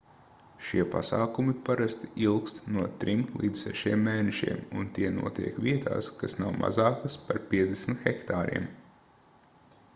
šie pasākumi parasti ilgst no trim līdz sešiem mēnešiem un tie notiek vietās kas nav mazākas par 50 hektāriem